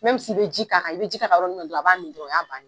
i bɛ ji k'a kan i bɛ ji ka kan yɔrɔ min na a b'a min dɔrɔn o y'a bannen.